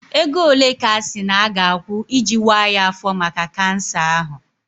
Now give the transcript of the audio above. Ego ole ka a sị na a ga-akwụ iji waa ya afọ maka kansa ahụ?